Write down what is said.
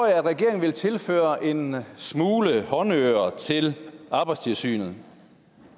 jeg at regeringen vil tilføre en smule håndører til arbejdstilsynet